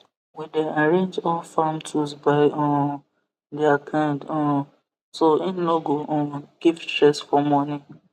we dey arrange all farm tools by um their kind um so hin no go um give stress for morning